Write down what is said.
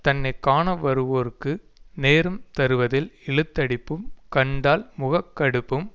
தன்னை காண வருவோர்க்கு நேரம் தருவதில் இழுத்தடிப்பும் கண்டால் முகக்கடுப்பும்